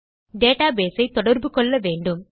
database ஐ தொடர்பு கொள்ள வேண்டும்